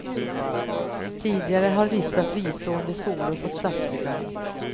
Tidigare har vissa fristående skolor fått statsbidrag.